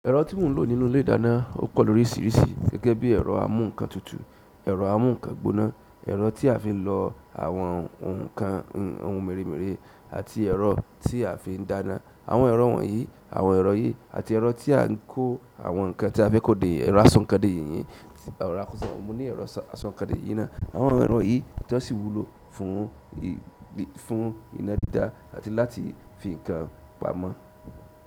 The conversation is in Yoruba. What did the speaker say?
Ẹ̀rọ tí mò ń lò nínú ilé ìdáná ó pọ̀ lóríṣiríṣi gẹ́gẹ́ bí ẹ̀rọ amú nǹkan tutù, ẹ̀rọ amú nǹkan gbóná, ẹ̀rọ tí a fi ń lọ àwọn ohun kan ohun mèremère àti ẹ̀rọ tí a fi ń dáná. Àwọn ẹ̀rọ wọ̀nyí, àwọn ẹ̀rọ yìí àti ẹ̀rọ tí à ń kó àwọn nǹkan tí a fẹ́ kó dè yí, ẹ̀rọ aṣọ̀nkọ̀dè yíyìí, mo ní ẹ̀rọ aṣọ̀nkọ̀dè yìí ná. Àwọn ẹ̀rọ yìí ni tó sì wúlò fún, fún iná dídá àti láti fi nǹkan pamọ́.